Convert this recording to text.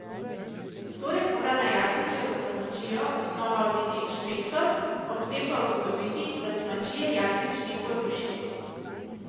Torej mora na Jakličevo domačijo znova oditi inšpektor, ob tem pa ugotoviti, da domačije Jaklič ni porušil.